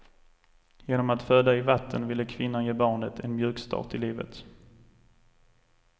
Genom att föda i vatten ville kvinnan ge barnet en mjukstart i livet.